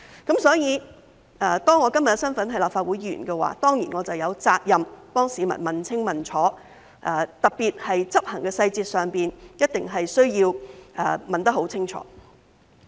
因此，當我今天的身份是立法會議員，我當然有責任替市民問清問楚，特別是在執行細節上，一定需要問得很清楚。